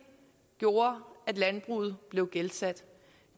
gjorde at landbruget blev gældsat